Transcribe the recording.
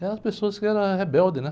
Eram pessoas que eram as rebeldes, né?